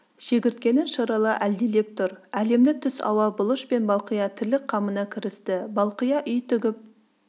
шегірткенің шырылы әлдилеп тұр әлемді түс ауа бұлыш пен балқия тірлік қамына кірісті балкия үй тігіп